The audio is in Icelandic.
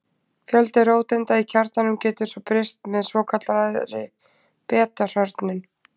Fjöldi róteinda í kjarnanum getur svo breyst með svokallaðri beta-hrörnun.